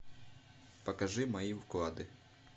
покажи мои вклады